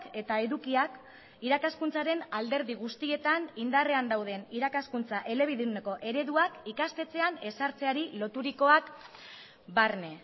eta edukiak irakaskuntzaren alderdi guztietan indarrean dauden irakaskuntza elebiduneko ereduak ikastetxean ez sartzeari loturikoak barne